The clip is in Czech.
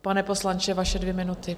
Pane poslanče, vaše dvě minuty.